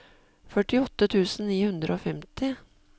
førtiåtte tusen ni hundre og femti